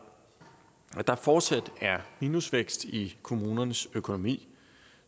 at der fortsat er minusvækst i kommunernes økonomi